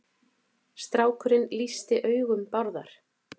Strákurinn lýsti augum Bárðar.